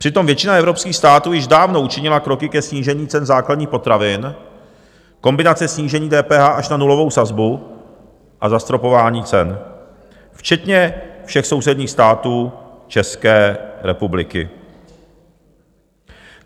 Přitom většina evropských států již dávno učinila kroky ke snížení cen základních potravin, kombinace snížení DPH až na nulovou sazbu a zastropování cen, včetně všech sousedních států České republiky.